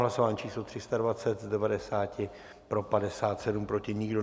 Hlasování číslo 320, z 90 pro 57, proti nikdo.